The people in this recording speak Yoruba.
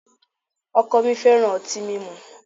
O̩ko̩ mi fe̩ran o̩ti mimu